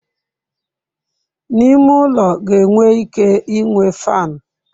N'ime ulo ga enwe ike inwe faanụ.